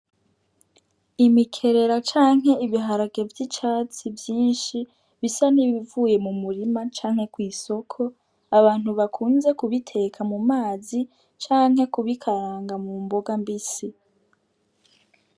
Imikerera canke ibiharage vy'icatsi vyishi bisa nibivuye mu murima canke kw'isoko abantu bakunze ku biteka mu mazi canke ku bikaranga mu mboga mbisi.